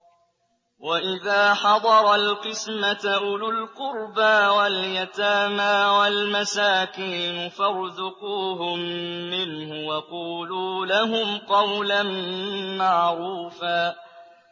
وَإِذَا حَضَرَ الْقِسْمَةَ أُولُو الْقُرْبَىٰ وَالْيَتَامَىٰ وَالْمَسَاكِينُ فَارْزُقُوهُم مِّنْهُ وَقُولُوا لَهُمْ قَوْلًا مَّعْرُوفًا